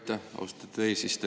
Aitäh, austatud eesistuja!